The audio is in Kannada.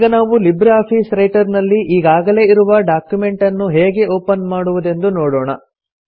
ಈಗ ನಾವು ಲಿಬ್ರೆ ಆಫೀಸ್ ರೈಟರ್ ನಲ್ಲಿ ಈಗಾಗಲೇ ಇರುವ ಡಾಕ್ಯುಮೆಂಟನ್ನು ಹೇಗೆ ಒಪನ್ ಮಾಡುವುದೆಂದು ನೋಡೋಣ